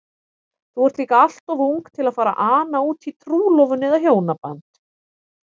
Þú ert líka alltof ung til að fara að ana útí trúlofun eða hjónaband.